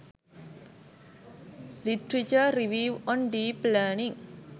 literature review on deep learning